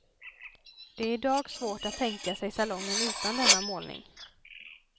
Det är idag svårt att tänka sig salongen utan denna målning.